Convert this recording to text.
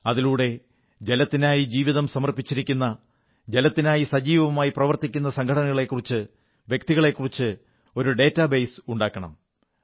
അതിലൂടെ ജലത്തിനായി ജീവിതം സമർപ്പിച്ചിരിക്കുന്ന ജലത്തിനായി സജീവമായി പ്രവർത്തിക്കുന്ന സംഘടനകളെക്കുറിച്ച് വ്യക്തികളെക്കുറിച്ച് ഒരു ഡേറ്റാബേസ് ഉണ്ടാക്കുന്നതിനാണത്